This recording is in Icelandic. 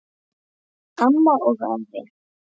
Amma og afi.